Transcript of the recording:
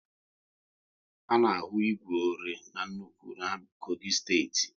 A na ahu igwe ore n'nnukwu na Kogi steeti